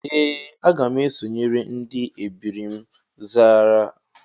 Ee, aga m esonyere ndị ebiri m zara aha